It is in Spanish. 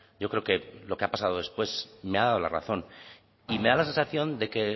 yo creo que lo que ha pasado después me ha dado la razón y me da la sensación de que